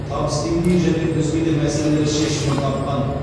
табыс деңгейі және өзге де мәселелер шешімін тапқан